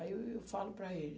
Aí eu falo para ele.